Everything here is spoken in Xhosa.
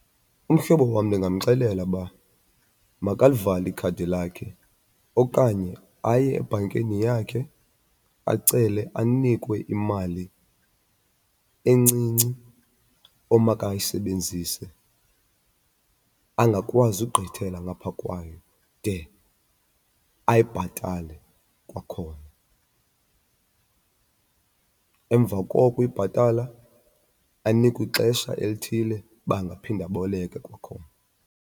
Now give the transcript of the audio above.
Umhlobo wam ndingamxelela uba makalivale ikhadi lakhe okanye aye ebhankeni yakhe acele anikwe imali encinci omakayisebenzise, angakwazi ugqithela ngapha kwayo de ayibhatale kwakhona. Emva kokuyibhatala anikwe ixesha elithile uba angaphinde aboleke kwakhona.